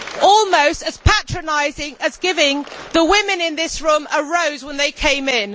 Almost as patronising as giving the women in this room a rose when they came in.